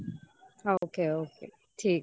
ok ok. ঠিক আছে.